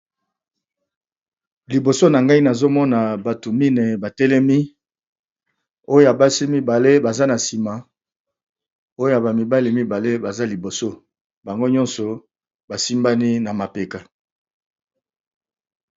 Liboso nagai nazomona batu mine batelemi Oyo ya mibale batelemi na sima Oyo ya mibali batelemi Simi bango ntogo basimbani na mapeka